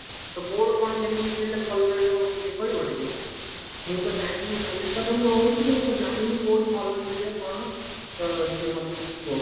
ତ କଉଠୁ କଣ କେମିତି କିଣିଲେ ଭଲ ରହିବା ମତେ ଟିକେ କହିବ ଟିକେ ମୁଁ ତ ଜାଣିନି ବାଲେଶ୍ଵର ମୁଁ ରହୁଛି କିନ୍ତୁ ମୁଁ ଜାଣିନି କଉଠି ଭଲ ମିଳିବ କଣ ତ ଟିକେ ମତେ ଟିକେ କୁହ